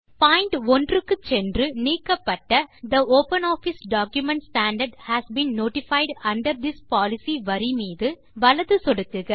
point 1 க்கு சென்று நீக்கப்பட்ட the OpenOffice document standard has been notified under this policy வரி மீது வலது சொடுக்குக